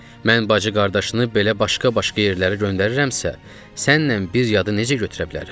Mən bacı-qardaşını belə başqa-başqa yerlərə göndirirəmsə, sənlə bir yadını necə götürə bilərəm?